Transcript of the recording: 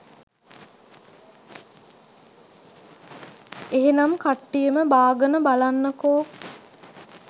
එහෙනම් කට්ටියම බාගන බලන්නකෝ